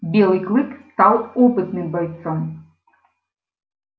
белый клык стал опытным бойцом